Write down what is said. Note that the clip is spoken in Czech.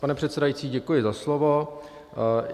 Pane předsedající, děkuji za slovo.